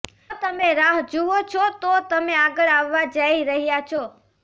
જો તમે રાહ જુઓ છો તો તમે આગળ આવવા જઈ રહ્યાં છો